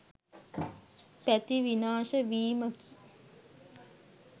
පැති විනාශ වීමකි.